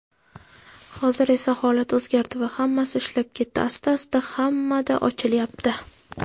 Hozir esa holat o‘zgardi va hammasi ishlab ketdi asta-asta hammada ochilyapti.